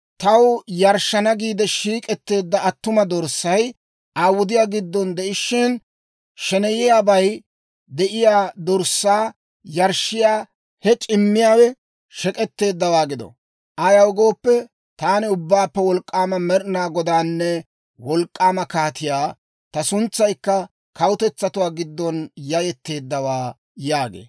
Taw yarshshana giide shiik'etteedda attuma dorssay Aa wudiyaa giddon de'ishshin, sheneyiyaabay de'iyaa dorssaa yarshshiyaa he c'immiyaawe shek'etteeddawaa gido! Ayaw gooppe, taani Ubbaappe Wolk'k'aama Med'ina Godaanne Wolk'k'aama Kaatiyaa; ta suntsaykka kawutetsatuwaa giddon yayetteeddawaa» yaagee.